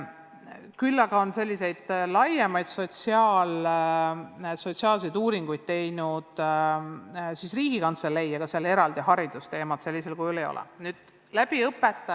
Küll aga on selliseid laiemaid sotsiaalseid uuringuid teinud Riigikantselei, kuid neis haridusteemat eraldi sellisel kujul ei ole.